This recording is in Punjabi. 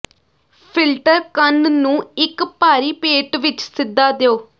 ਫਿਲਟਰ ਕਣ ਨੂੰ ਇੱਕ ਭਾਰੀ ਪੇਟ ਵਿੱਚ ਸਿੱਧਾ ਦਿਓ